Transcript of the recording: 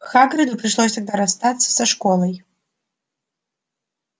хагриду пришлось тогда расстаться со школой